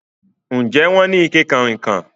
Ǹjẹ́ wọn ni awọn ìkẹ̀ kanrínnkan?